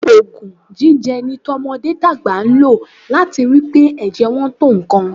Òògùn ẹ̀jẹ̀ ni ọmọdé tàgbà máa ń lò láti rí i pé ẹ̀jẹ̀ wọn tó nǹkan